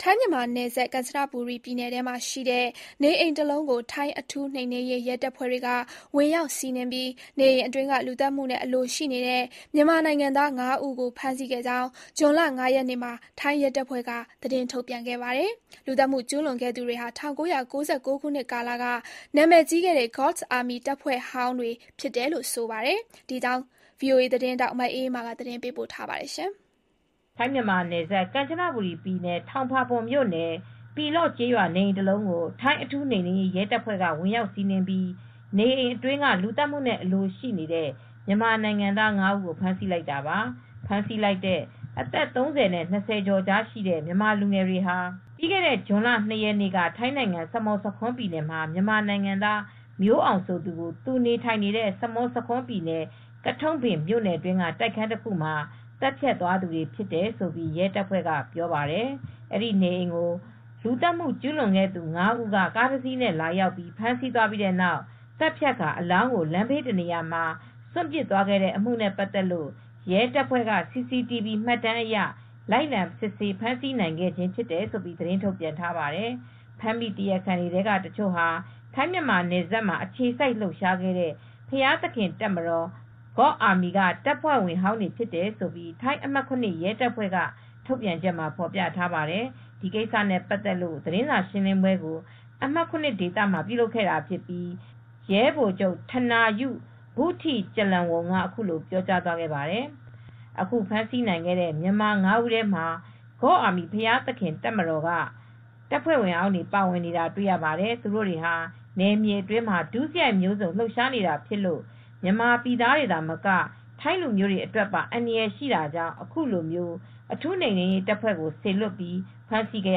ထိုင်း-မြန်မာနယ်စပ် ကန်ချနဘူရီပြည်နယ်ထဲမှာရှိတဲ့ နေအိမ်တလုံးကို ထိုင်းအထူးနိမ်နင်းရေး ရဲတပ်ဖွဲ့တွေက ဝင်ရောက်စီးနင်းပြီး လူသတ်မှုနဲ့အလိုရှိနေတဲ့ မြန်မာနိုင်ငံသား ငါးဦးကို ဖမ်းဆီးခဲ့ကြောင်း ဇွန်လ ၅ရက်နေ့မှာ ထိုင်းရဲတပ်ဖွဲ့က သတင်းထုတ်ပြန်ခဲ့ပါတယ်။ လူသတ်မှုကျူးလွန်ခဲ့သူတွေဟာ ၁၉၉၉ခုနှစ်ကာလက နာမည်ကြီးခဲ့တဲ့ God's Army တပ်ဖွဲ့ဟောင်းတွေဖြစ်တယ်လို့ ဆိုပါတယ်။ ဒီအကြောင်း ဗွီအိုအေသတင်းထောက် မအေးအေးမာက သတင်းပေးပို့ထားပါတယ်။ ထိုင်း-မြန်မာနယ်စပ် ကန်ချနဘူရီပြည်နယ်၊ ထောင်ပါပွန်း မြို့နယ်၊ ပီလော့ကျေးရွာ နေအိမ်တလုံးအတွင်းကို ထိုင်းအထူးနိမ်နင်းရေး ရဲတပ်ဖွဲ့တွေ ဝင်ရောက်စီးနင်းပြီး နေအိမ်အတွင်းက လူသတ်မှုနဲ့ အလိုရှိနေတဲ့ မြန်မာနိုင်ငံသား ငါးဦးကိုဖမ်းဆီးလိုက်တာပါ။ ဖမ်းဆီးလိုက်တဲ့ အသက် ၃၀ နဲ့ ၂၀ကျော်အကြားရှိကြတဲ့ အဲဒီ မြန်မာလူငယ် ၅ဦးဟာ ပြီးခဲ့တဲ့ ဇွန်လ ၂ရက်နေ့က ထိုင်းနိုင်ငံ စမွတ်ဆာခွန်းပြည်နယ်မှာ မြန်မာနိုင်ငံသား မျိုးအောင် ဆိုသူကို သူနေထိုင်နေတဲ့ စမွတ်ဆာခွန်း ပြည်နယ်၊ ကထုန့်ဘင်မြို့နယ်က တိုက်ခန်းတခုမှာ သတ်ဖြတ်သွားသူတွေဖြစ်တယ်လို့ရဲတပ်ဖွဲ့ကပြောပါတယ်။ အဲဒီနေအိမ်ကို လူသတ်မူကျုးလွန်ခဲ့တဲ့သူ ၅ ဦးက ကားတစ်စီးနဲ့ရောက်လာပြီး ဖမ်းစီးသွားပြီးနောက် သတ်ဖြတ်ကာ အလောင်းကို လမ်းဘေးတနေရာမှာ စွန့်ပစ်သွား ခဲ့တဲ့အမှုနဲ့ပါတ်သက်ပြီး ရဲတပ်ဖွဲ့က CCTV မှတ်တမ်းတွေအရ လိုက်လံ စစ်ဆေးဖမ်းဆီးနိုင်ခဲ့ခြင်း ဖြစ်တယ်လို့သတင်းထုတ်ပြန်ထားပါတယ်။ ဖမ်းမိ တရားခံတွေထဲက တချို့ဟာ တချိန်က ထိုင်း-မြန်မာ နယ်စပ်မှာ အခြေစိုက်လှုပ်ရှားခဲ့တဲ့ ဘုရားသခင်တပ်မတော် (God's Army) က တပ်ဖွဲ့ဝင်ဟောင်းတွေဖြစ်တယ်လို့လည်း ထိုင်း အမှတ် (၇) ရဲတပ်ဖွဲ့ရဲ့ ထုတ်ပြန်ချက်မှာဖေါ်ပြထားပါတယ်။ ဒီကိစ္စနဲ့ပတ်သက်တဲ့ သတင်းစာရှင်းလင်းပွဲကို အမှတ် (၇) ဒေသမှာ ပြုလုပ်ခဲ့တာမှာ ရဲဗိုလ်ချုပ် ထနာယု ဘုထိကျလန်ဝုန်က အခုလို ပြောကြားခဲ့ပါတယ်။ “ယခုဖမ်းဆီးနိုင်ခဲ့တဲ့ မြန်မာ ၅ဦးထဲမှာ God’s Army ဘုရားသခင်တပ်ဖွဲ့ဝင်ဟောင်းတွေ ပါနေတာတွေ့ရပါတယ်။ သူတိုတွေဟာ နယ်မြေအတွင်းမှာ ဒုစရိုက်ဂိုဏ်းပုံစံမျိုး လှုပ်ရှားနေတာဖြစ်လို့ မြန်မာနိုင်ငံသားတွေသာမက ထိုင်းလူမျိုးတွေအတွက်ပါ အန္တရယ်ရှိနေတာကြောင့် အခုလို အထူးနိမ်နင်းရေးတပ်ဖွဲ့ကို စေလွတ်ပြီး ဖမ်းဆီးခဲ့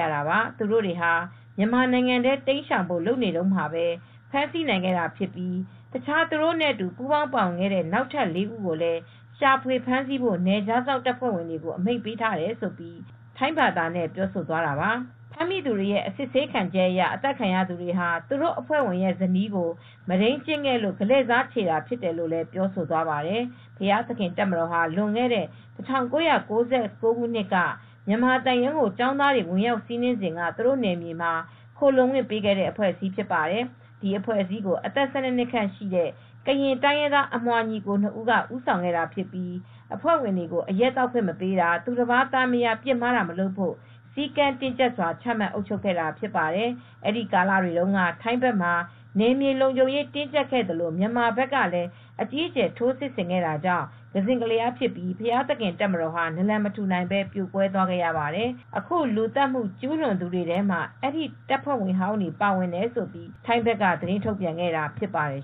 ရတာပါ။ သူတို့တွေဟာ မြန်မာနိုင်ငံထဲ တိမ်းရှောင်ဖို့ လုပ်နေတုန်းမှာ ဖမ်းနိုင်ခဲ့တာဖြစ်ပြီး၊ တခြား သူတို့နဲ့အတူ ပူးပေါင်းပါဝင်ခဲ့တဲ့ နောက်ထပ် ၄ ဦးကိုလည်း ရှာဖွေဖမ်းဆီးဖို့ နယ်ခြားစောင့်တပ်ဖွဲ့တွေကို အမိန့်ပေးထားတယ်” လို့ ထိုင်းဘာသာနဲ့ပြောဆိုသွားတာပါ။ ဖမ်းမိသူတွေရဲ့အစစ်ခံချက်အရ အသတ်ခံရသူဟာ သူတို့အဖွဲ့ဝင်ရဲ့ဇနီးကို မုဒိမ်းကျင့်ခဲ့လို့ ကလဲ့စားချေတာဖြစ်တယ်လို့လည်း ပြောဆိုသွားပါတယ်။ ဘုရားသခင်တပ်မတော်ဟာ လွန်ခဲ့တဲ့ ၁၉၉၉ခုနှစ်က မြန်မာသံရုံးကို ကျောင်းသားတွေ ဝင်ရောက်စီးနင်းစဉ်က သူတို့နယ်မြေမှာ ခိုလှုံခွင့်ပေးခဲ့တဲ့အဖွဲ့အစည်းဖြစ်ပါတယ်။ ဒီအဖွဲ့အစည်းကိုအသက် ၁၂ ခန့်ရှိတဲ့ ကရင်တိုင်းရင်းသား အမွှာညီအကို ၂ ဦးက ဦးဆောင်ခဲ့တာဖြစ်ပြီး အဖွဲ့ဝင်တွေကို အရက်သောက်ခွင့်မပေးတာ၊ သူတပါးသားမယား ပစ်မှားတာမျိုးမလုပ်ဖို့ စည်းကမ်းတင်းကြပ်စွာ ချမှတ် အုပ်ချုပ်ခဲ့တာဖြစ်ပါတယ်။ အဲဒီကာလတွေတုန်းကလည်း ထိုင်းဘက်မှာ နယ်မြေလုံခြုံရေး တင်းကြပ်ခဲ့သလို မြန်မာဘက်ကလည်း အကြီးအကျယ် ထိုးစစ်ဆင်ခဲ့တာကြောင့် ကစဉ့်ကလျားဖြစ်ပြီး ဘုရားသခင်တပ်မတော်ဟာ နလံမထူနိုင်ပဲ ပြိုကွဲသွားခဲ့ရပါတယ်။ အခုလူသတ်မှုကျူးလွန်သူတွေထဲမှာတော့ အဲဒီ တပ်ဖွဲ့ဝင်ဟောင်းတွေ ပါဝင်တယ်လို့ထိုင်းဘက်က သတင်းထုတ်ပြန်ခဲ့တာဖြစ်ပါတယ်